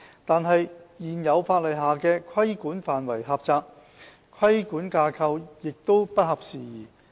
但是，現有法例下的規管範圍狹窄，規管架構亦不合時宜。